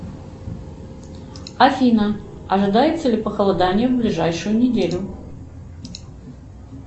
афина ожидается ли похолодание в ближайшую неделю